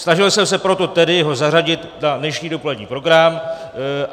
Snažil jsem se proto tedy ho zařadit na dnešní dopolední program.